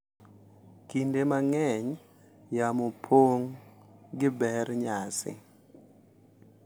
Kinde mang’eny, yamo pong’ gi ber nyasi,